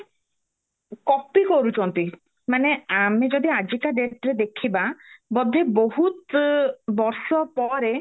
copy କରୁଚନ୍ତି ମାନେ ଆମେ ଯଦି ଆଜିକା dateରେ ଦେଖିବା ବୋଧେ ବହୁତ ବର୍ଷ ପରେ